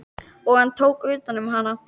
Og hann tók utan um hana.